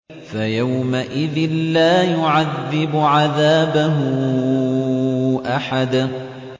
فَيَوْمَئِذٍ لَّا يُعَذِّبُ عَذَابَهُ أَحَدٌ